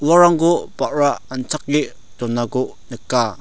uarangko ba·ra anchake donako nika.